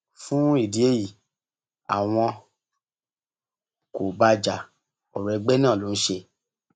fún ìdí èyí àwọn kò bá a já ọrọ ẹgbẹ náà ló ń ṣe